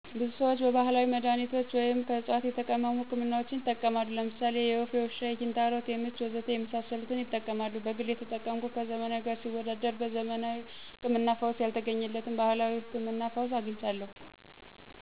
ብዙ ሰዎች ባህላዊ መድሃኒቶችን ወይም ከዕፅዋት የተቀመሙ ህክምናዎችን ይጠቀማሉ። ለምሳሌ የወፍ፣ የውሻ፣ የኪንታሮት፣ የምች፣ ወዘተ ለመሳሰሉት ይጠቀማሉ። በግሌ የተጠቀምኩት ከዘመናዊ ጋር ሲወዳደር በዘመናዊ ህክምና ፈውስ ያልተገኘለትን በባህላዊው ህክምና ፈውስ አግኝቻለሁ።